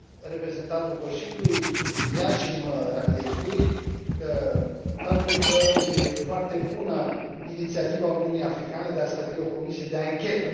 Reprezentantul Consiliului sublinia și mă raliez lui faptul că e foarte bună inițiativa Uniunii Africane de a stabili o comisie de anchetă.